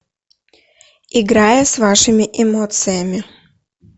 играя с вашими эмоциями